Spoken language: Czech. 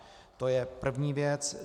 To je první věc.